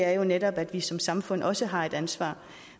er jo netop at vi som samfund også har et ansvar